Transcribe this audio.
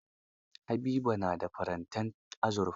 Habiba na da farantin azurfa.